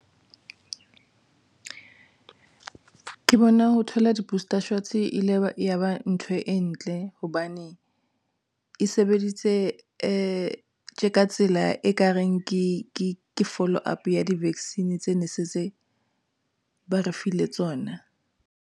Ke bona ho thola di-booster shots e ile ya ba ntho e ntle hobane e sebeditse tsela e kareng ke follow up ya di-vaccine tse nesetse ba re file tsona nka.